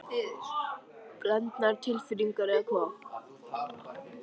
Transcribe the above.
Gísli Óskarsson: Blendnar tilfinningar eða hvað?